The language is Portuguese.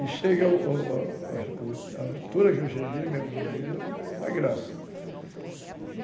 altura que eu cheguei, meu amigo, é da graça.